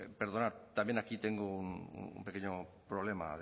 perdonar también aquí tengo un pequeño problema